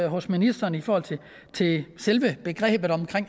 hos ministeren i forhold til selve begrebet